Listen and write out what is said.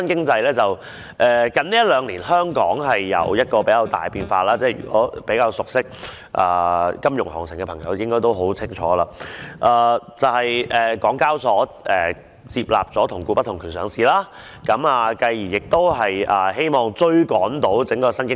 最近兩年，香港有出現了頗大的變化——較為熟悉金融行情的朋友，應該都很清楚——就是港交所接納了"同股不同權"上市的做法，繼而希望追趕上整個新經濟時代。